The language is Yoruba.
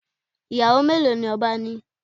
Iyawo melo ni oba ni?